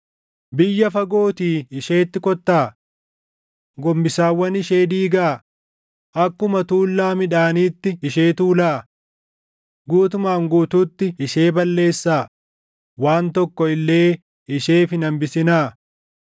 Biyya fagootii isheetti kottaa. Gombisaawwan ishee diigaa; akkuma tuullaa midhaaniitti ishee tuulaa. Guutumaan guutuutti ishee balleessaa; waan tokko illee isheef hin hambisinaa.